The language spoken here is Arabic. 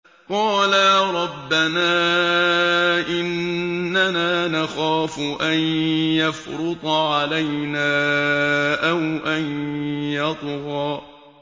قَالَا رَبَّنَا إِنَّنَا نَخَافُ أَن يَفْرُطَ عَلَيْنَا أَوْ أَن يَطْغَىٰ